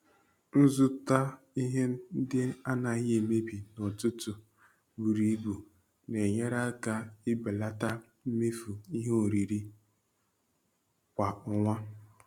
Ịzụta ihe ndị anaghị emebi n'ọtụtụ buru ibu na-enyere aka ibelata mmefu ihe oriri kwa ọnwa.